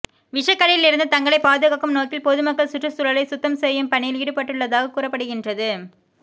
விஷக்கடியில் இருந்து தங்களைப் பாதுகாக்கும் நோக்கில் பொதுமக்கள் சுற்றுச் சூழலை சுத்தம் செய்யும் பணியில் ஈடுபட்டுள்ளதாக கூறப்படுகின்றது